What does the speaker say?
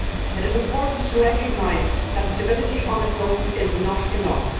It is important to recognise that stability on its own is not enough.